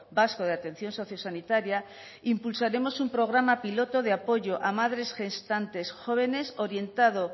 vasco de atención sociosanitaria impulsaremos un programa piloto de apoyo a madres gestantes jóvenes orientado